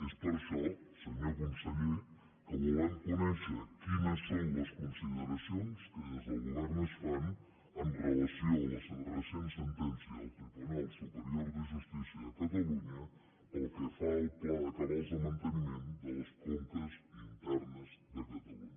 és per això senyor conseller que volem conèixer quines són les consideracions que des del govern es fan amb relació a la recent sentència del tribunal superior de justícia de catalunya pel que fa al pla de cabals de manteniment de les conques internes de catalunya